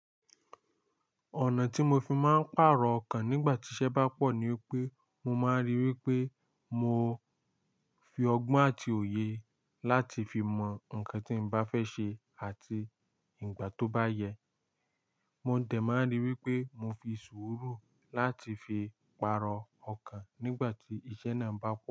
Ọ̀nà tí mo fi máa ń pàrọ̀ ọkàn nígbà tí iṣẹ́ bá pọ̀ ni wipé mo máa ń rí i wí pé mo fi ọgbọ́n àti òye láti fi mọ nǹkan tí mo bá fẹ́ ṣe àti ìgbà tó bá yẹ. Mò ń tẹ máa rí i wí pé mo fi sùúrù láti fi pàrọ̀ ọkàn nígbà tí iṣẹ́ náà ń bá pọ̀